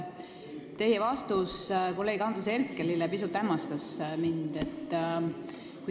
Teie vastus kolleeg Andres Herkelile pisut hämmastas mind.